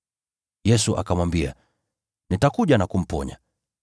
Yesu akamwambia, “Nitakuja na kumponya.”